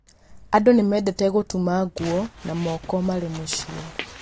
Andũ nĩ mendete gũtuma nguo na moko marĩ mũciĩ.